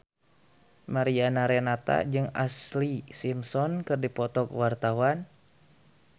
Mariana Renata jeung Ashlee Simpson keur dipoto ku wartawan